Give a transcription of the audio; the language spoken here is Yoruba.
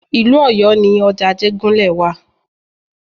Ìlú Ọ̀yọ́ ni ọjà Ajégúnlẹ̀ wa.